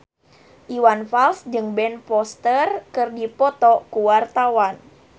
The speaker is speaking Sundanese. Iwan Fals jeung Ben Foster keur dipoto ku wartawan